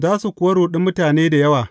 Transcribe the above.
Za su kuwa ruɗi mutane da yawa.